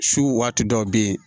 Su waati dɔw be yen